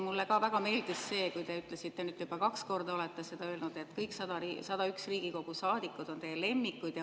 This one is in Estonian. Mulle ka väga meeldis see, kui te ütlesite seda, mida te nüüd juba kaks korda olete öelnud, et kõik 100 Riigikogu saadikut on teie lemmikud.